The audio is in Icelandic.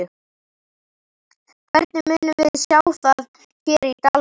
Hvernig munum við sjá það hér í dalnum?